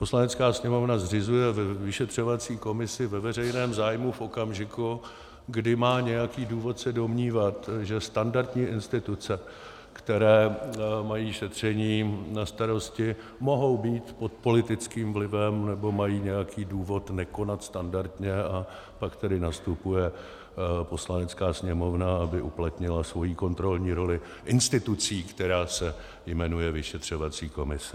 Poslanecká sněmovna zřizuje vyšetřovací komisi ve veřejném zájmu v okamžiku, kdy má nějaký důvod se domnívat, že standardní instituce, které mají šetření na starosti, mohou být pod politickým vlivem nebo mají nějaký důvod nekonat standardně, a pak tedy nastupuje Poslanecká sněmovna, aby uplatnila svoji kontrolní roli institucí, která se jmenuje vyšetřovací komise.